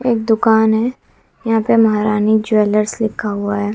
एक दुकान है यहां पे महरानी ज्वेलर्स लिखा हुआ है।